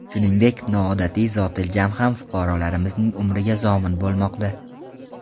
Shuningdek, noodatiy zotiljam ham fuqarolarimizning umriga zomin bo‘lmoqda.